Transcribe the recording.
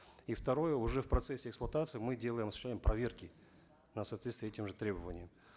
и второе уже в процессе эксплуатации мы делаем осуществление проверки на соответствие этим же требованиям